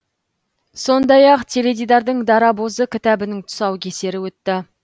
сондай ақ теледидардың дарабозы кітабының тұсаукесері өтті